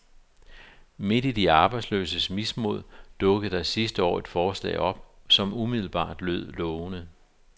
Midt i de arbejdsløses mismod dukkede der sidste år et forslag op, som umiddelbart lød lovende.